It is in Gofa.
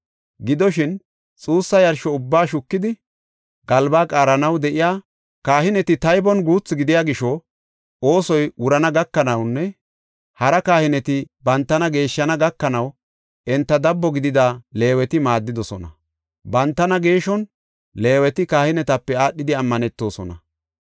Gidoshin, xuussa yarsho ubbaa shukidi, galbaa qaaranaw de7iya kahineti taybon guutha gidiya gisho oosoy wurana gakanawunne hara kahineti bantana geeshshana gakanaw enta dabbo gidida Leeweti maaddidosona. Bantana geeshon Leeweti kahinetape aadhidi ammanetosona.